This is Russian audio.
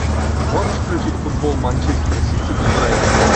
можешь включить футбол манчестер сити и брайтон